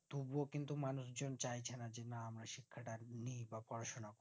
তবুও কিন্তু মানুষ জন চাইছে না যে না আমিও শিক্ষাটা নেই বা পড়াশোনা